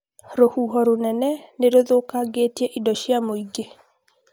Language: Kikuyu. rũhuho rũnene nĩ rũthũkangĩtie indo cia mũingĩ